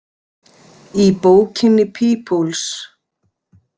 Í bókinni Peoples.